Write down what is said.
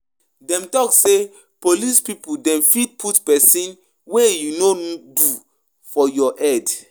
Dem talk sey police pipu dem fit put sometin wey you no do for your head.